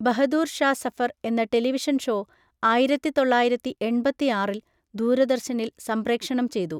ബഹദൂർ ഷാ സഫർ എന്ന television show ആയിരത്തി തൊള്ളായിരത്തി എൺപത്തിയാറിൽ ദൂരദർശനിൽ സംപ്രേക്ഷണം ചെയ്തു.